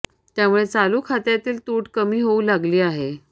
त्यामुळे चालू खात्यातील तूट कमी होऊ लागली आहे